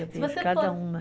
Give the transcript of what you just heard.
Eu vejo cada uma.